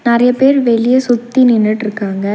நெறய பேர் வெளிய சுத்தி நின்னுட்ருக்காங்க.